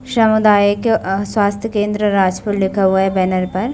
सामुदायिक अ स्वास्थ्य केंद्र राजपुर लिखा हुआ है बैनर पर --